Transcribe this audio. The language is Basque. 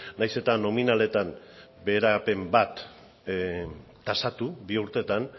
nahiz eta nominaletan beherapen bat tasatu bi urteetan